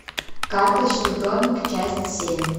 карточный домик часть семь